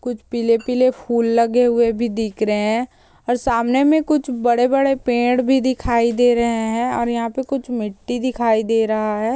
कुछ पीले-पीले फूल लगे हुए भी दिख रहे हैं सामने में कुछ पेड़ भी दिखाई दे रहे हैं और यहाँ पर कुछ मिट्टी दिखाई दे रहा है।